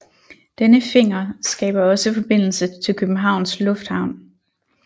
Denne finger skaber også forbindelse til Københavns Lufthavn